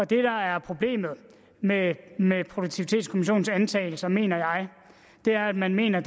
det der er problemet med produktivitetskommissionens antagelser mener jeg er at man mener